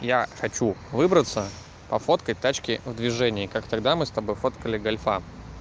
я хочу выбраться пофоткать тачки в движении как тогда мы с тобой фоткали гольфа